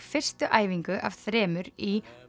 fyrstu æfingu af þremur í